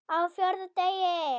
Á FJÓRÐA DEGI